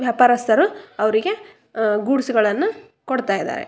ವ್ಯಾಪಾರಸ್ಥರು ಅವರಿಗೆ ಹಮ್ ಗೂಡ್ಸ್ ಗಳನ್ನೂ ಕೊಡ್ತಾ ಇದ್ದಾರೆ.